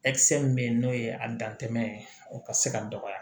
min be yen n'o ye a dantɛ ye o ka se ka dɔgɔya